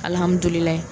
Alihamudulila